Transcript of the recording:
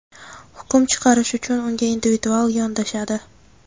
hukm chiqarish uchun unga individual yondashadi.